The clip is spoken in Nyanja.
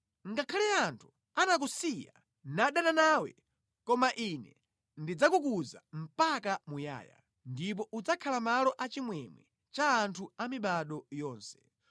“Ngakhale anthu anakusiya nadana nawe, koma Ine ndidzakukuza mpaka muyaya, ndipo udzakhala malo a chimwemwe cha anthu amibado yonse.